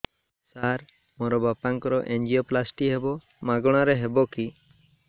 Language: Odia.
ସାର ମୋର ବାପାଙ୍କର ଏନଜିଓପ୍ଳାସଟି ହେବ ମାଗଣା ରେ ହେବ କି